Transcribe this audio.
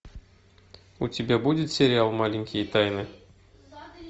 у тебя будет сериал маленькие тайны